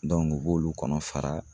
u b'olu kɔnɔ fara